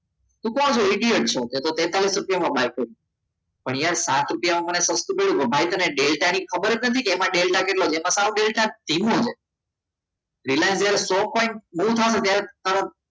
તું કોણ છે atx છે તેતાલિસ રૂપિયામાં ભાઈ કર્યો પણ યાર સાત મળે તેને ખબર જ નથી કે એમાં ડેલ્ટા કેટલો છે બતાવો ડેલ્ટા ધીમો છે રિલાયન્સ જ્યારે સો પોઇન્ટ move થાય ત્યારે